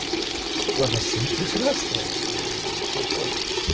мм россия прекрасна кто спорит то